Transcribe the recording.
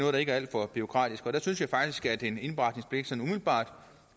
det ikke er alt for bureaukratisk der synes jeg faktisk at en indberetningspligt umiddelbart